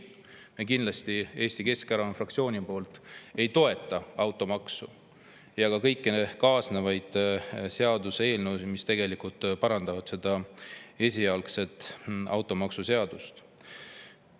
Me kindlasti Eesti Keskerakonna fraktsioonis ei toeta automaksu ja kõiki kaasnevaid seaduseelnõusid, mis parandavad seda esialgset automaksuseadust.